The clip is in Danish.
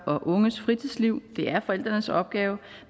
og unges fritidsliv det er forældrenes opgave